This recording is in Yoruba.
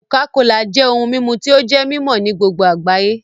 cocacola jẹ ohùn mímú tí o jé mimọ ní gbogbo agbayé